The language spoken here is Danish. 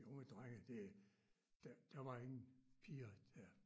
De unge drenge det der der var ingen piger der